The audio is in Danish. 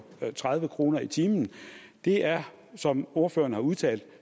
tredive kroner i timen det er som ordføreren har udtalt